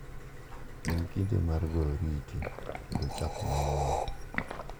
En kinde mar goyo oriti kendo chako manyien.